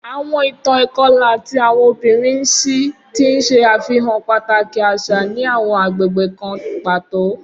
Awọn itan ikọla ti awọn obinrin n ṣii, ti n ṣe afihan pataki aṣa ni awọn agbegbe kan pato.